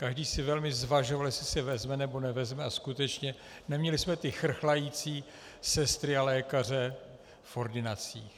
Každý si velmi zvažoval, jestli si vezme, anebo nevezme, a skutečně, neměli jsme ty chrchlající sestry a lékaře v ordinacích.